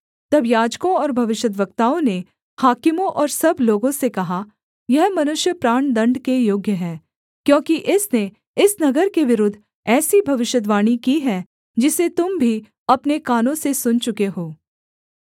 तब याजकों और भविष्यद्वक्ताओं ने हाकिमों और सब लोगों से कहा यह मनुष्य प्राणदण्ड के योग्य है क्योंकि इसने इस नगर के विरुद्ध ऐसी भविष्यद्वाणी की है जिसे तुम भी अपने कानों से सुन चुके हो